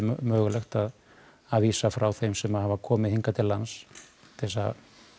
hægt að vísa frá þeim sem hafa komið hingað til lands til að